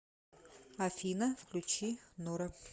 афина включи норо